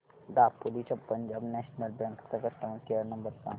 दापोली च्या Punjab national bank चा customer care number सांग